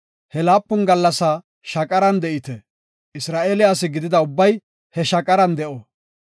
He laapun gallasaa shaqaran de7ite; Isra7eele asi gidida ubbay he shaqaran de7o.